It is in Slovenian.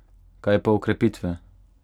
Kaj pa okrepitve?